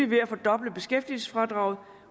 ved at fordoble beskæftigelsesfradraget